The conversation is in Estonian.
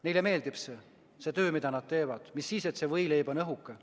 Neile meeldib see töö, mida nad teevad, mis sellest, et see võileib on õhuke.